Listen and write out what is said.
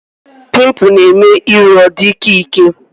Pimpụl na-eme iru ọ dị ịkẹ́ ịkẹ́